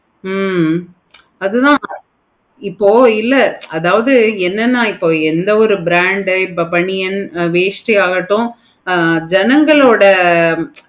அது தான் இப்போ இல்ல அதாவது என்னென்ன எந்த ஒரு brand பனியன் வேஷ்டியை யா இருக்கட்டும் ஜனங்களோட